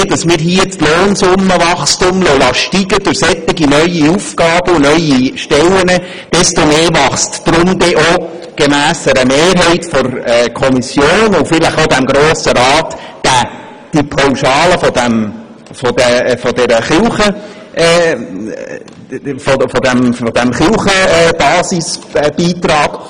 Und je mehr wir hier das Lohnsummenwachstum durch solche neuen Aufgaben und neue Stellen steigen lassen, desto mehr wächst dann auch – gemäss einer Mehrheit der Kommission und vielleicht auch des Grossen Rats – diese Pauschale für den Kirchenbasisbeitrag.